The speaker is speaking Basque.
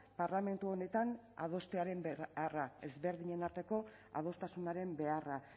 parlamentu honetan adostearen beharra ezberdinen arteko adostasunaren beharra